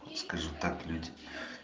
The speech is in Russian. скажи так люди